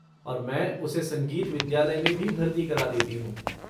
और मैं उसे संगीत विद्यालय में भी भर्ती करा देती हूँ।